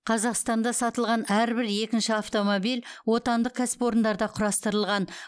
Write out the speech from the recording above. қазақстанда сатылған әрбір екінші автомобиль отандық кәсіпорындарда құрастырылған